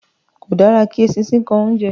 Kò dára kí eṣinṣin kan oúnjẹ